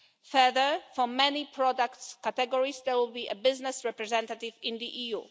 Further, for many product categories, there will be a business representative in the EU.